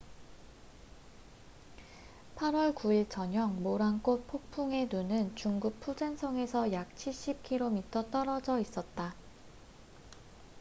8월 9일 저녁 모라꼿 폭풍의 눈은 중국 푸젠성에서 약 70km 떨어져 있었다